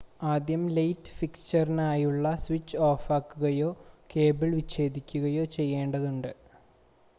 ആദ്യം ലൈറ്റ് ഫിക്‌ചറിനായുള്ള സ്വിച്ച് ഓഫാക്കുകയോ കേബിൾ വിച്ഛേദിക്കുകയോ ചെയ്യേണ്ടതുണ്ട്